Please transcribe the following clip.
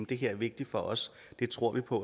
det her er vigtigt for os det tror vi på